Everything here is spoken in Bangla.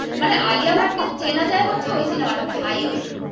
মানে আলিয়া ভাট কে চেনা হচ্ছে ওই cinema টা highway তে